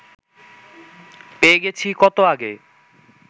পেয়ে গেছি কত আগে